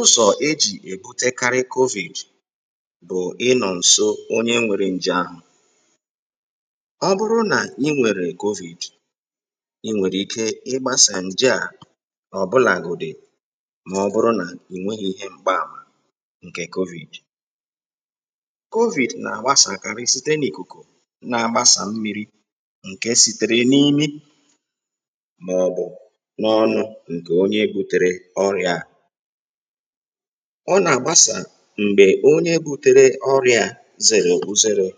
ụzọ̀ ejì èkutekarị covid bụ̀ ịnọ̀ ǹso onye nwērē ǹjè ahụ̀ ọ bụrụ nà ị nwèrè covid ị nwèrè ike ịgbāsà ǹje à ọ̀bụlàgòdị̀ mà ọ bụrụ nà ị̀ nweghī yā m̀gbe ànwà ǹkè covid covid nà-àgbasàkarị site n’ìkùkù na-agbasà mmīrī ǹke sītērē n’imi màọ̀bụ̀ n’ọnụ̄ ǹkè onye būtērē ọrịā à ọ nà-àgbasa m̀gbè onye būtērē ọrịā à zèrè uzerē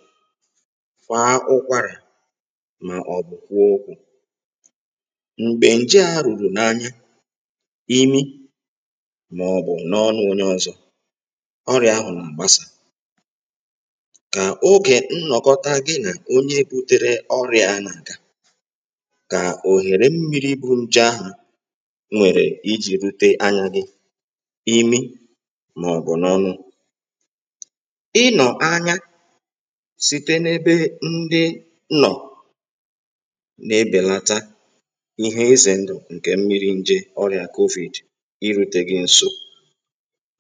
kwàa ụkwarà màọ̀bụ̀ kwuo okū m̀gbè ǹje ā rùrù n’anya, imi màọ̀bụ̀ n’ọnụ̄ ōnyē ọ̀zọ̀, ọrià ahụ̀ nà-àgbasà kà ogè nnọ̀kọta gị nà onye būtērē ọrịā à nà-àga kà òghère mmīrī bù ǹjè ahụ̀ nwèrè ijī rūtē anya gị̄, imi, màọ̀bụ̀ n’ọnụ̄ ịnọ̀ anya site n’ebe ndị nnọ̀ na-ebèlata ihe izè ndụ̀ ǹkè mmirī n̄jē ọrịà covid irūtē gị̄ n̄sō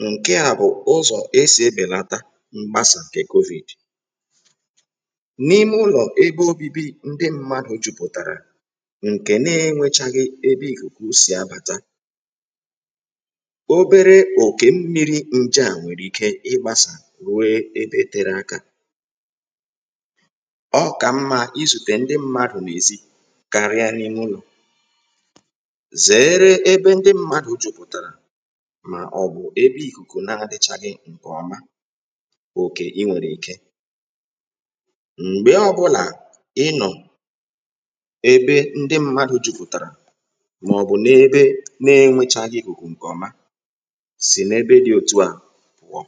ǹke à bụ̀ ụzọ̀ esì ebèlata mkpasà ǹkè covid n’ime ụlọ̀ ebe ōbībī ndị m̄mādụ̀ jupùtàrà ǹkè na-ēnwēchàghị̀ ebe ìkùkù sì abàta obere òkè mmīrī ǹje à nwèrè ike ịgbāsà ruo ebe tērē ākā ọ kà mmā izùtè ndị m̄mādụ̀ n’èzi karia n’ime ụlọ̀ zèere ebe ndị m̄mādụ̀ jupùtàrà mà ọ̀ bụ̀ ebe ìkùkù na-adị̄chàghị̀ ǹkè ọma ogè ị nwèrè ike m̀gbe ọ̄bụ̄là ị nọọ̀ ebe ndị m̄mādụ̀ jupùtàrà màọ̀bụ̀ n’ebe nā-ēnwèchàghị̀ ìkùkù ǹkè ọma sì n’ebe dị̄ òtù ahụ̀ pụ̀ọ